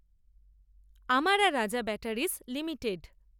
আমারা Raja Batteries limited